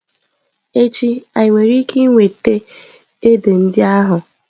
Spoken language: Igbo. Echi, anyị nwere ike iweta édè ndị ahụ?